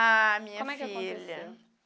Ah, minha filha. Como é que aconteceu?